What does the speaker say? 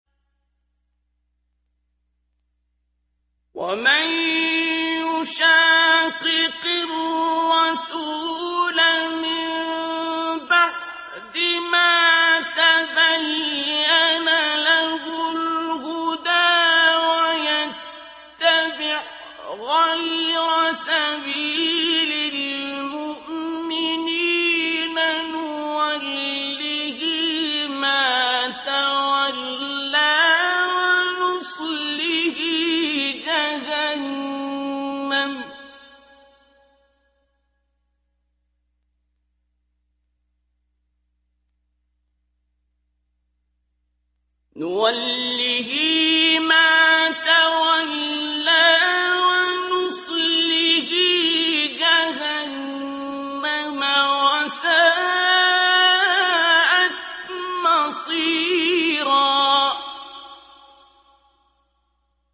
وَمَن يُشَاقِقِ الرَّسُولَ مِن بَعْدِ مَا تَبَيَّنَ لَهُ الْهُدَىٰ وَيَتَّبِعْ غَيْرَ سَبِيلِ الْمُؤْمِنِينَ نُوَلِّهِ مَا تَوَلَّىٰ وَنُصْلِهِ جَهَنَّمَ ۖ وَسَاءَتْ مَصِيرًا